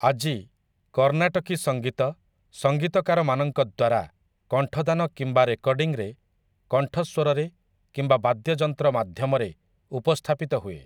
ଆଜି 'କର୍ଣ୍ଣାଟକୀ ସଙ୍ଗୀତ' ସଙ୍ଗୀତକାରମାନଙ୍କ ଦ୍ୱାରା, କଣ୍ଠଦାନ କିମ୍ବା ରେକର୍ଡ଼ିଂରେ, କଣ୍ଠସ୍ୱରରେ କିମ୍ବା ବାଦ୍ୟଯନ୍ତ୍ର ମାଧ୍ୟମରେ ଉପସ୍ଥାପିତ ହୁଏ ।